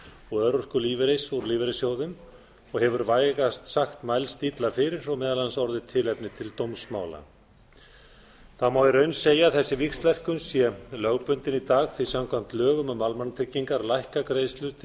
og örorkulífeyris úr lífeyrissjóðum og hefur vægast sagt mælst illa fyrir og meðal annars orðið tilefni til dómsmála það má í raun segja að þessi víxlverkun sé lögbundin í dag því samkvæmt lögum um almannatryggingar lækka greiðslur til